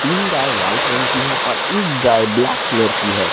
तीन गाय व्हाइट रंग की है और एक गाय ब्लैक कलर की है।